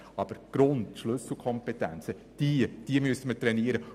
Aber die Schlüsselkompetenzen müssen wir trainieren.